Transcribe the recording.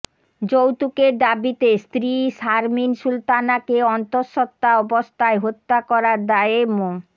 যৌতুকের দাবিতে স্ত্রী শারমীন সুলতানাকে অন্তঃসত্ত্বা অবস্থায় হত্যা করার দায়ে মো